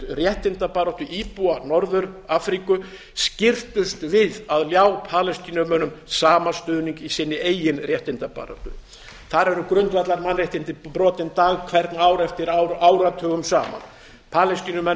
réttindabaráttu íbúa norður afríku skirrtust við að ljá palestínumönnum sama stuðning í sinni eigin réttindabaráttu þar eru grundvallarmannréttindi brotin dag hvern ár eftir ár áratugum saman palestínumenn